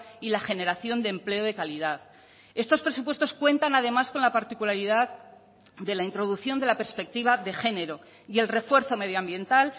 y la generación de empleo de calidad estos presupuestos cuentan además con la particularidad de la introducción de la perspectiva de género y el refuerzo medioambiental